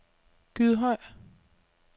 Gydhøj